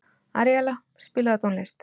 Aríella, spilaðu tónlist.